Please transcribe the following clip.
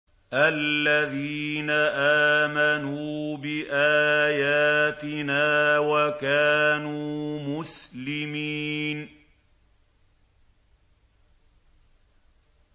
الَّذِينَ آمَنُوا بِآيَاتِنَا وَكَانُوا مُسْلِمِينَ